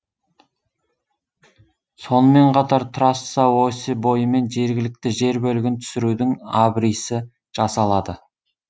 сонымен қатар трасса осі бойымен жергілікті жер бөлігін түсірудің абрисі жасалады